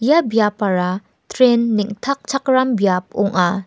ia biapara tren neng·takchakram biap ong·a.